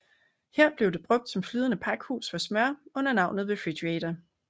Her blev det brugt som flydende pakhus for smør under navnet Refrigerator